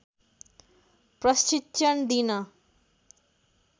प्रशिक्षण दिन